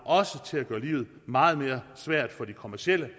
også til at gøre livet meget mere svært for de kommercielle